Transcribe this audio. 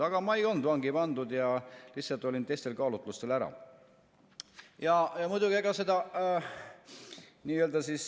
Aga mind ei olnud vangi pandud, vaid ma lihtsalt olin teistel kaalutlustel ära.